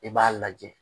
I b'a lajɛ